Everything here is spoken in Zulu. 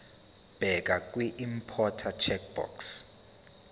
bheka kwiimporter checkbox